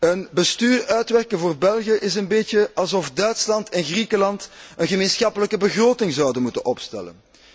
Een bestuur uitwerken voor België is een beetje alsof Duitsland en Griekenland een gemeenschappelijke begroting zouden moeten opstellen.